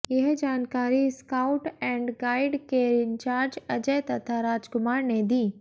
यह जानकारी scout and guide के इंचार्ज अजय तथा राजकुमार ने दी